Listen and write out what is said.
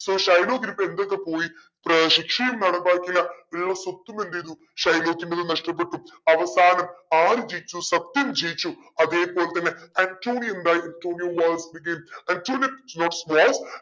so ഷൈലോക്കിനി ഇപ്പോ എന്തൊക്കെ പോയി ഏർ ശിക്ഷയും നടപ്പാക്കിയില്ല ഉള്ള സ്വത്തും എന്തെയ്തു ഷൈലോക്കിന്റത് നഷ്ടപ്പെട്ടു. അവസാനം ആര് ജയിച്ചു സത്യം ജയിച്ചു അതേപോലെതന്നെ ആന്റോണിയോ എന്തായി ആന്റോണിയോ ആന്റോണിയോ